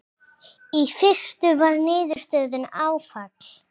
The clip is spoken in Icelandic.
Í fyrstu var niðurstaðan áfall.